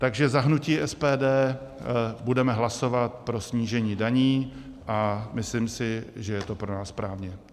Takže za hnutí SPD budeme hlasovat pro snížení daní a myslím si, že je to pro nás správně.